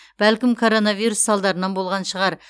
бәлкім коронавирус салдарынан болған шығар